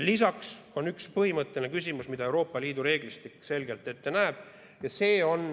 Lisaks on üks põhimõtteline küsimus, mida Euroopa Liidu reeglistik selgelt ette näeb.